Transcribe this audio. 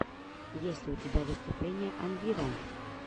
есть ли у тебя выступление анвира